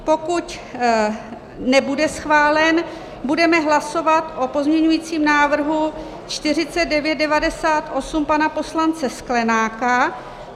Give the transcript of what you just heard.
Pokud nebude schválen, budeme hlasovat o pozměňujícím návrhu 4998 pana poslance Sklenáka.